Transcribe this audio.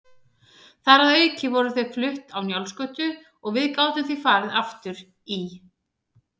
Þar að auki voru þau flutt á Njálsgötu og við gátum því farið aftur í